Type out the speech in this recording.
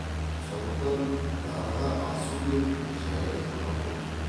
сондықтан дарға асу деп жай айтылған болар